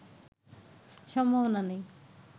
সম্ভাবনা নেই